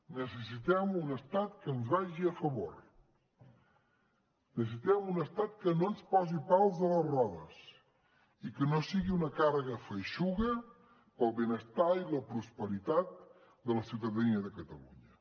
necessitem un estat que ens vagi a favor necessitem un estat que no ens posi pals a les rodes i que no sigui una càrrega feixuga pel benestar i la prosperitat de la ciutadania de catalunya